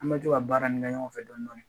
An bɛ to ka baara nin kɛ ɲɔgɔn fɛ dɔni dɔni